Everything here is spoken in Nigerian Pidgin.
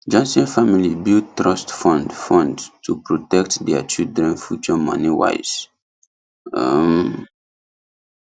johnson family build trust fund fund to protect their children future moneywise um